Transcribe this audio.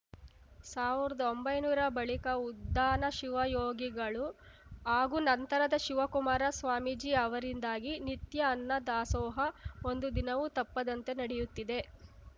ಸಾವ್ರ್ದಒಂಬೈನೂರ ಬಳಿಕ ಉದ್ದಾನ ಶಿವಯೋಗಿಗಳು ಹಾಗೂ ನಂತರದ ಶಿವಕುಮಾರ ಸ್ವಾಮೀಜಿ ಅವರಿಂದಾಗಿ ನಿತ್ಯ ಅನ್ನದಾಸೋಹ ಒಂದು ದಿನವೂ ತಪ್ಪದಂತೆ ನಡೆಯುತ್ತಿದೆ